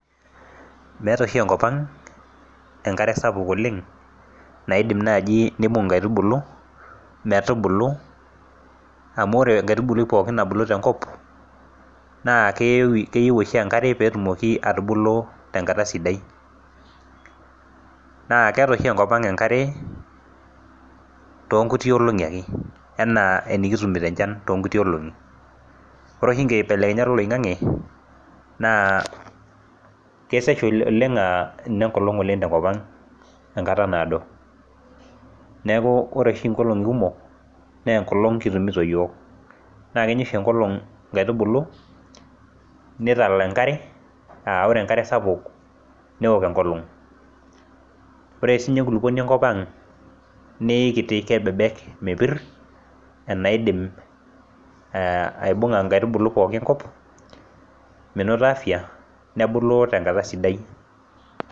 Meeta oshi enkop ang enkare sapuk oleng naidim naaji nibung inkaitubulu metubulu amu ore enkaitubului pookin nabulu tenkop naa keyewi keyieu oshi enkare petumoki atubulu tenkata sidai naa keeta oshi enkop ang enkare tonkuti olong'i ake enaa enikitumito enchan tonkuti olong'i ore oshi inkibelekenyat oloing'ang'e naa kesesh oleng uh inenkolong oleng tenkop ang enkata naado neeku ore oshi inkolong'i kumok nenkolong kitumito iyiok naa kenya oshi enkolong inkaitubulu nitala enkare aore enkare sapuk newok enkolong ore sininye enkulupuoni enkop ang neikiti kebebek mepirr enaidim eh aibung'a inkaitubuu pookin enkop menoto afya nebulu tenkata sidai.